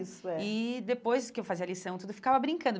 Isso, é. E depois que eu fazia lição, tudo, ficava brincando.